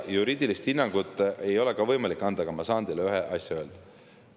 Juriidilist hinnangut ei ole ka võimalik anda, aga ma saan teile ühe asja öelda.